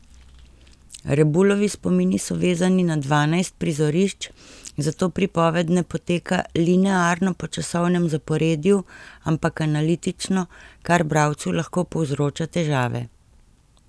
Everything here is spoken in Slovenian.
Rebulovi spomini so vezani na dvanajst prizorišč, zato pripoved ne poteka linearno po časovnem zaporedju ampak analitično, kar bralcu lahko povzroča težave.